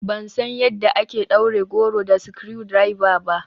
Ban san yadda ake ɗaure goro da screwdriver ba.